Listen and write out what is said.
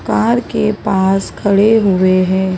Car के पास खड़े हुए हैं।